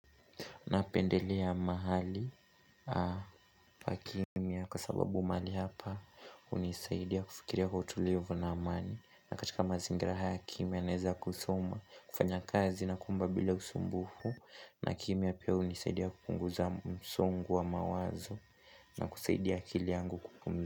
Napendelea mahali pakimya kwa sababu mahali hapa, hunisaidia kufikiria kwa utulivu na amani. Katika mazingira haya kimya naweza kusoma, kufanya kazi na kuomba bila usumbufu na kimya pia hunisaidia kupunguza msongo wa mawazo, na kusaidia akili yangu kupum.